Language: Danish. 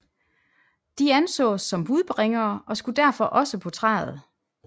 De ansås som budbringere og skulle derfor også på træet